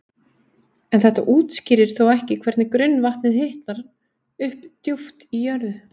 En þetta útskýrir þó ekki hvernig grunnvatnið hitnar upp djúpt í jörðu.